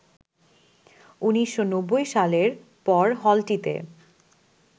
১৯৯০ সালের পর হলটিতে